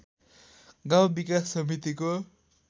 गाउँ विकास समितिको